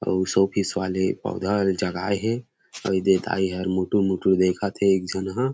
उस ऑफिस वाले पौधा जगाए हे अऊ दाई हर इधर मुटुर-मुटुर देखत हे एक झन ह --